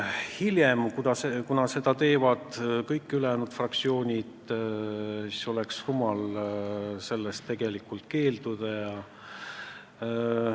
Hiljem, kuna nii on teinud kõik ülejäänud fraktsioonid, olnuks rumal sellest rahast keelduda.